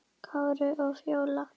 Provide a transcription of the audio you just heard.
Kári og Fjóla.